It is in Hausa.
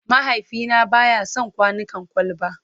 Mahaifina ba ya son kwanukan kwalba.